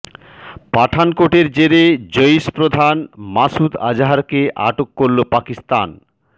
পঠানকোটের জেরে জইশ প্রধান মাসুদ আজহারকে আটক করল পাকিস্তান